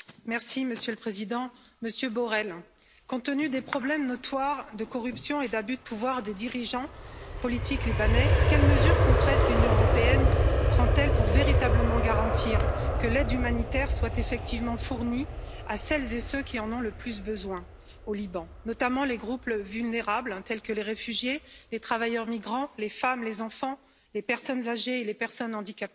Monsieur le Président, Monsieur Borrell, compte tenu des problèmes notoires de corruption et d'abus de pouvoir des dirigeants politiques libanais, quelles mesures concrètes l'Union européenne prend elle pour véritablement garantir que l'aide humanitaire soit effectivement fournie à celles et ceux qui en ont le plus besoin au Liban, notamment les groupes vulnérables, tels que les réfugiés, les travailleurs migrants, les femmes, les enfants, les personnes âgées et les personnes handicapées?